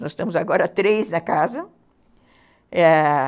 Nós estamos agora três na casa, ãh...